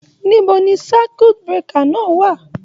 Níbo ni circuit breaker náà wà?